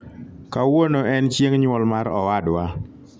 kawuono en chieng nyuol mar owadwa